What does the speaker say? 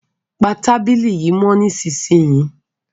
Pa tábìlì yìí mọ́ nísìsiyìí!